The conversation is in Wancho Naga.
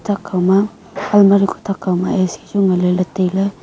thakkaw ma almari kuh thak kawma A_C chu ngan leley tailey.